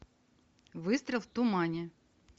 выстрел в тумане